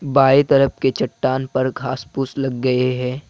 बाएं तरफ के चट्टान पर घास फूस लग गए हैं।